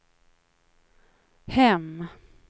hem